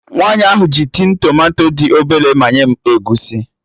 Nwaanyi ahụ ji tin tomato dị obele manye m egusi